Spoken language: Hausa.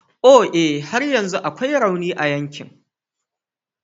O e! har yanzu akwai rauni a yankin.